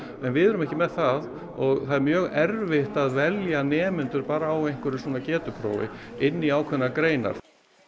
en við erum ekki með það og það er mjög erfitt að velja nemendur bara á einhverju svona getuprófi inn í ákveðnar greinar